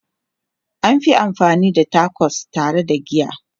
An fi amfani da Tacos tare da giya.